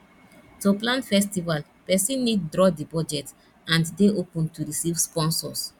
to plan festival persin need draw di budget and de open to receive sponsors